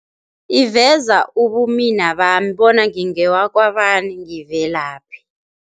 Iveza ubumina bami bona ngingewakwabani, ngivelaphi.